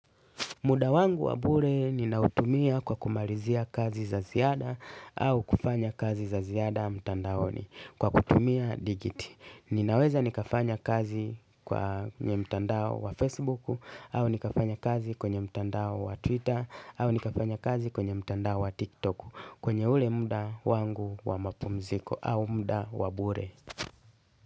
Muda wangu wa bure ninautumia kwa kumalizia kazi za ziada au kufanya kazi za ziada mtandaoni kwa kutumia digiti. Ninaweza nikafanya kazi kwa mtandao wa Facebook au nikafanya kazi kwenye mtandao wa Twitter au nikafanya kazi kwenye mtandao wa TikTok kwenye ule muda wangu wa mapumziko au muda wa bure.